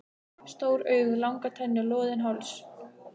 Stór augu, langar tennur, loðinn háls.